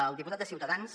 el diputat de ciutadans